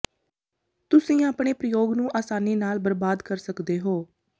ਤੁਸੀਂ ਆਪਣੇ ਪ੍ਰਯੋਗ ਨੂੰ ਆਸਾਨੀ ਨਾਲ ਬਰਬਾਦ ਕਰ ਸਕਦੇ ਹੋ